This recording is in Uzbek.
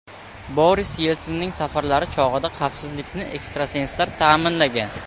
Boris Yelsinning safarlari chog‘ida xavfsizlikni ekstrasenslar ta’minlagan.